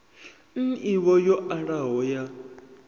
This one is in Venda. n ivho yo alaho ya